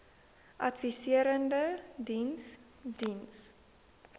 adviserende diens diens